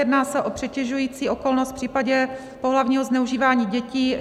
Jedná se o přitěžující okolnost v případě pohlavního zneužívání dětí.